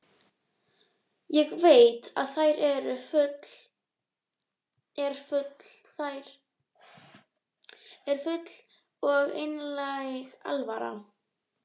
Ég veit að þér er full og einlæg alvara.